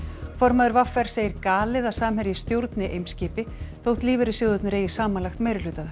formaður v r segir galið að Samherji stjórni Eimskipi þótt lífeyrissjóðirnir eigi samanlagt meirihluta þar